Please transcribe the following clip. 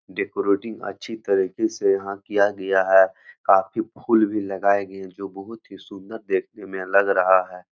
Decorating अच्छी तरीके से यहां किया गया है काफी फूल भी लगाए गए जो बहुत ही सुन्दर देखने में लग रहा है।